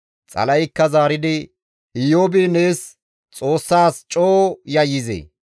Xala7eykka zaaridi, «Iyoobi nees Xoossaas coo yayyizee?